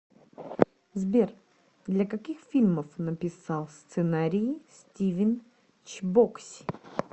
сбер для каких фильмов написал сценарии стивен чбокси